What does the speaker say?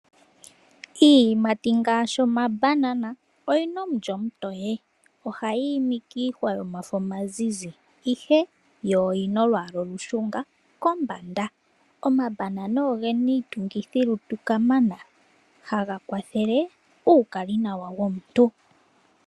Iiyimati ngaashi omabanana oyina omulyo omutoye, ohayi imi kiinasha yomafo omazizi ihe yo oyina olwaala olushunga kombanda. Omabanana ogena iitungithilutu kamana haga kwathele uukalinawa womuntu.